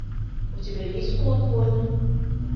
у тебя есть кулак воина